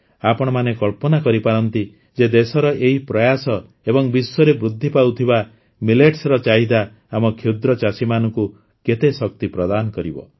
ଆପଣମାନେ କଳ୍ପନା କରିପାରନ୍ତି ଯେ ଦେଶର ଏହି ପ୍ରୟାସ ଏବଂ ବିଶ୍ୱରେ ବୃଦ୍ଧି ପାଉଥିବା ମିଲେଟ୍ସର ଚାହିଦା ଆମ କ୍ଷୁଦ୍ର ଚାଷୀମାନଙ୍କୁ କେତେ ଶକ୍ତି ପ୍ରଦାନ କରିବ